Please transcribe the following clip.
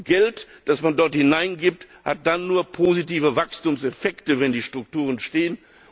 Geld, das man dort hineingibt, hat nur dann positive Wachstumseffekte, wenn die Strukturen stehen.